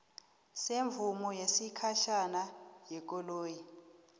semvumo yesikhatjhana yekoloyi